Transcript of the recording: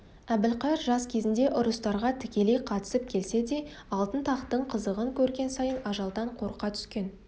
әбілқайыр жас кезінде ұрыстарға тікелей қатысып келсе де алтын тақтың қызығын көрген сайын ажалдан қорқа түскен